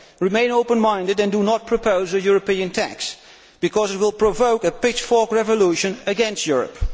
Remain open minded and do not propose a European tax because it will provoke a pitchfork revolution against Europe.